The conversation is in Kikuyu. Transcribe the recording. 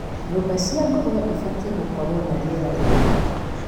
nyũmba cia ngũrũwe cibatie gũkorwo na rĩera rĩega,